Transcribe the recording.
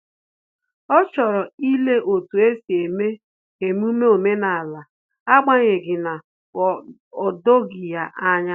Ọ chọrọ ile otu esi eme emume omenala, agbanyeghi na o doghi ya anya